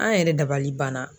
An yɛrɛ dabali banna.